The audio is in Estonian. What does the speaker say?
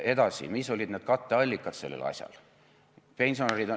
Edasi, mis olid katteallikad sellel asjal?